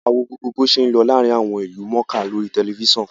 A wo gbogbo bo ṣé ń lọ láàárín àwọn ìlú mọ̀ọ́ká lórí tẹ̀lifísàn